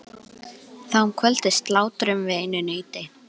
Þá um kvöldið slátruðum við einu nauti.